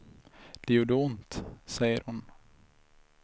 Det gjorde ont, säger hon.